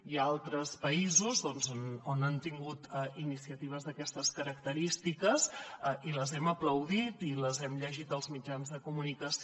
hi ha altres països on han tingut iniciatives d’aquestes característiques i les hem aplaudit i les hem llegit als mitjans de comunicació